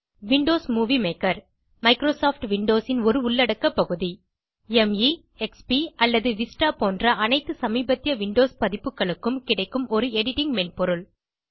Windows movie maker Microsoft Windows ன் ஒரு உள்ளடக்க பகுதி - மே எக்ஸ்பி அல்லது விஸ்டா போன்ற அனைத்து சமீபத்திய விண்டோஸ் பதிப்புகளுக்கும் கிடைக்கும் ஒரு எடிட்டிங் மென்பொருள்